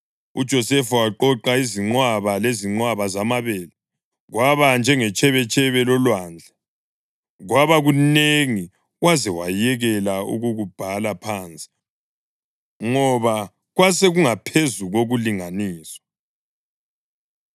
UJosefa waqoqa izinqwaba lezinqwaba zamabele, kwaba njengetshebetshebe lolwandle. Kwaba kunengi waze wayekela ukukubhala phansi ngoba kwasekungaphezu kokulinganiswa.